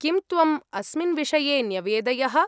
किं त्वम् अस्मिन् विषये न्यवेदयः?